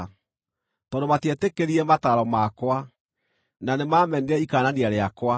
tondũ matietĩkĩrire mataaro makwa, na nĩmamenire ikaanania rĩakwa,